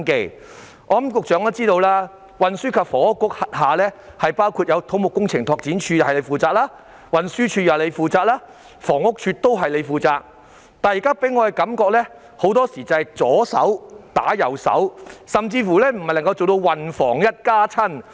我相信局長也知道，運輸及房屋局轄下有土木工程拓展署、運輸署及房屋署，但這些部門給我的感覺很多時候是"左手打右手"，甚至未能做到"運房一家親"。